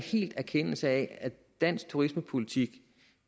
erkendelse af at dansk turismepolitik